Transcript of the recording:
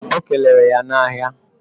O keleere ya na ahia